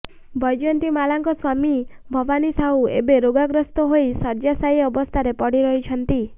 ବୈଜନ୍ତିମାଳାଙ୍କ ସ୍ୱାମୀ ଭବାନୀସାହୁ ଏବେ ରୋଗାଗ୍ରସ୍ତ ହୋଇ ଶଯ୍ୟାଶାୟୀ ଅବସ୍ଥାରେ ପଡିରହିଛନ୍ତି